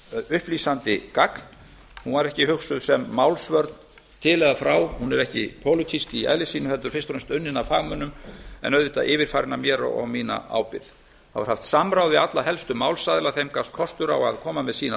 upplýsandi gagn hún var ekki hugsuð sem málsvörn til eða frá hún er ekki pólitísk í eðli sínu heldur fyrst og fremst unnin af fagmönnum en auðvitað yfirfarin af mér og á mína ábyrgð þá var haft samráð við alla helstu málsaðila þeim gafst kostur á að koma með sínar